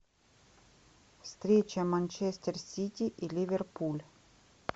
встреча манчестер сити и ливерпуль